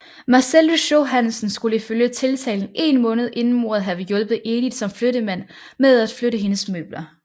Marcel Lychau Hansen skulle ifølge tiltalen én måned inden mordet have hjulpet Edith som flyttemand med at flytte hendes møbler